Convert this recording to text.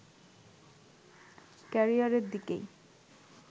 ক্যারিয়ারের দিকেই